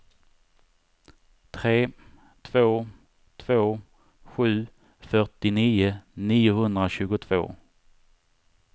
tre två två sju fyrtionio niohundratjugotvå